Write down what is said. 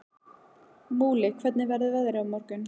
Múli, hvernig verður veðrið á morgun?